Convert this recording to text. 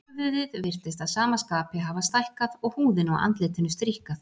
Höfuðið virtist að sama skapi hafa stækkað og húðin á andlitinu stríkkað.